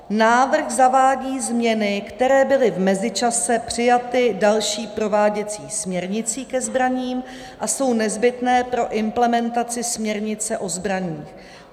Návrh zavádí změny, které byly v mezičase přijaty další prováděcí směrnicí ke zbraním a jsou nezbytné pro implementaci směrnice o zbraních.